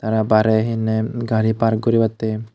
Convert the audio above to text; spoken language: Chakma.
aro barey he honney gari park guribattey.